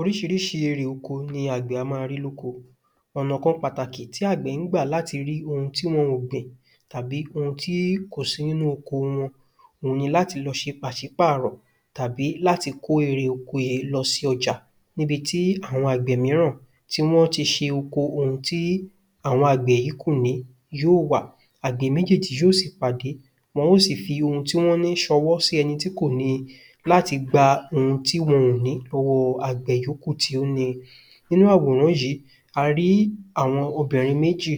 Oríṣiríṣi erè oko ni àgbẹ̀ a máa rí lóko, ọ̀nà kan pàtàkì tí àgbẹ̀ ń gbà láti rí oun tí wọn ò gbìn tàbí oun tí kò sí nínú oko wọn, òun ni láti lọ ṣe pàṣípàrọ̀ tàbí láti kó erè oko yìí lọ sí ọjà níbití àwọn àgbẹ̀ míràn tí wọ́n ti ṣe oko oun tí àwọn àgbẹ̀ yí kò ní yóò wà. Àgbẹ̀ méjéèjì yóò sì pàdé, wọn ó sì fi oun tí wọ́n ní ṣọwọ́ sí ẹni tí kò níi láti gba oun tí wọn ò ní lọ́wọ́ àgbẹ̀ tí ó níi. Nínú àwòrán yìí, a rí àwọn obìnrin méjì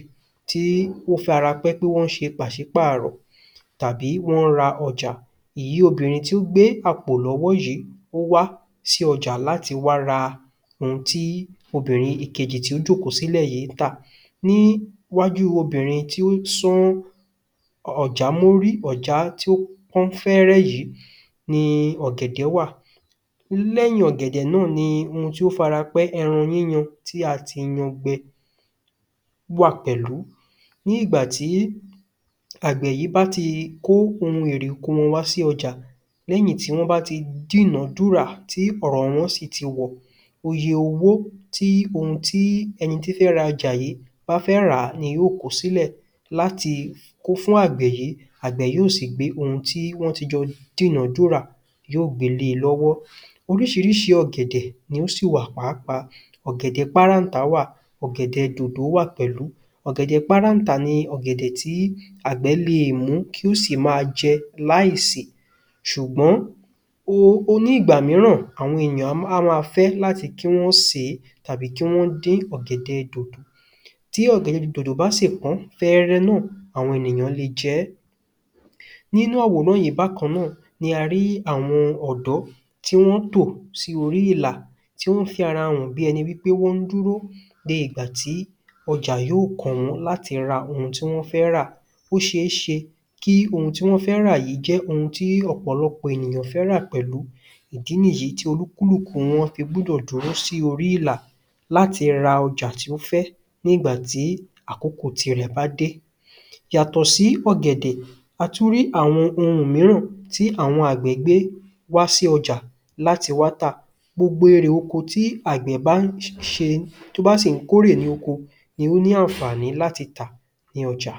tí ó farapẹ́ pé wọ́n ṣe pàṣípààrọ̀ tàbí wọ́n ń ra ọjà. Èyí obìnrin tó gbé àpò lọ́wọ́ yìí ó wá sí ọjà láti wá ra oun tí obìnrin ìkejì tí ó jòkó sílẹ̀ yí ń tà. Níwájú obìnrin tí ó sán ọ̀já mọ́rí, ọ̀já tí ó pọ́n fẹ́ẹ́rẹ́ yìí ni ọ̀gẹ̀dẹ̀ wà, lẹ́yìn ọ̀gẹ̀dẹ̀ náà ni oun tí ó farapẹ́ ẹran yíyan tí a ti yan gbẹ wà pẹ̀lú. Ní ìgbàtí àgbẹ̀ yí bá ti kó oun èrè oko wọn wá sí ọjà, lẹ́yìn tí wọ́n bá ti dínọdúrà tí ọ̀rọ̀ wọn sì ti wọ̀, oye owó tí oun ti ẹni tó fẹ́ ra ọjà yìí bá fẹ́ ràá ni yóò kó sílẹ̀ láti kó fún àgbẹ̀ yí, àgbẹ̀ yóò sì gbé oun tí wón ti jọ dínọdúrà yóò gbe lé e lọ́wọ́. Oríṣiríṣi ọ̀gẹ̀dẹ̀ ni ó sì wà pàápàá, ọ̀gẹ̀dẹ̀ páráǹtá wà, ọ̀gẹ̀dẹ̀ dòdò wà pẹ̀lú. Ọ̀gẹ̀dẹ̀ páráǹtá ni ọ̀gẹ̀dẹ̀ tí àgbẹ̀ le è mú kí ó sì máa jẹ láìsè ṣùgbọ́n ní ìgbà míràn, àwọn èyàn á máa fẹ́ láti sèé tàbí kí wọ́n dín ọ̀gẹ̀dẹ̀ dòdò.Tí ọ̀gẹ̀dẹ̀ dòdò bá sì pọ́n fẹ́ẹ́rẹ́ náà àwọn ènìyàn le jẹẹ́. Nínú àwòrán yìí bákan náà ni a rí àwọn ọ̀dọ́ tí wọ́n tò sí orí ìlà, tí wọ́n farahàn bí ẹni wípé wọ́n dúró de ìgbà tí ọjà yóò kàn wọ́n láti rà oun tí wọ́n fẹ́ rà.Ó ṣeéṣe kí oun tí wọ́n fẹ́ rà yí jẹ́ oun tí ọ̀pọ̀lọpọ̀ ènìyàn fẹ́ rà pẹ̀lú, ìdí nìyì tí olúkúlùkù wọ́n fi gbọ́dọ̀ dúró sí orí ìlà láti ra ọjà tí ó fẹ́ ní ìgbàtí àkókò tirẹ̀ bá dé.Yàtọ̀ sí ọ̀gẹ̀dẹ̀, a tún rí àwọn oun míràn tí àwọn àgbẹ̀ gbé wá sí ọjà láti wá tà. Gbogbo erè oko tí àgbẹ̀ bá ń ṣe tó bá sì ń kórè ní oko ni ó ní àǹfààní láti tà ní ọjà.